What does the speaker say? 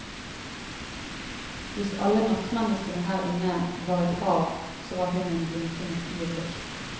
Hvis alle nattmenneskene her inne var et hav, så var hun en blinkende fyrlykt.